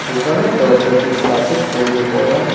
ওখানের দরজাটি কাঁচের তৈরি করা।